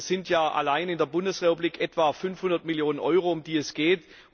Das sind ja allein in der Bundesrepublik etwa 500 Millionen Euro, um die es geht.